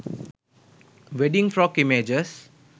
wedding frock images